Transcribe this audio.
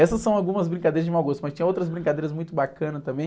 Essas são algumas brincadeiras de mau gosto, mas tinha outras brincadeiras muito bacanas também.